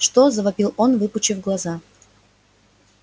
что завопил он выпучив глаза